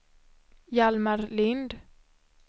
Hjalmar Lind